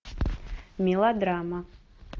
мелодрама